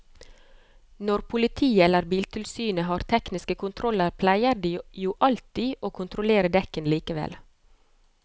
Når politiet eller biltilsynet har tekniske kontroller pleier de jo alltid å kontrollere dekkene likevel.